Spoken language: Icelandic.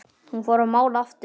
Hún fór að mála aftur.